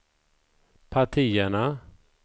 partierna